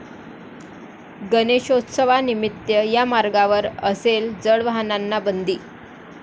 गणेशोत्सवानिमित्त या मार्गावर असेल जड वाहनांना बंदी